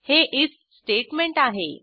हे IF statement आहे